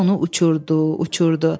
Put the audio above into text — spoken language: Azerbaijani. Külək onu uçurdu, uçurdu.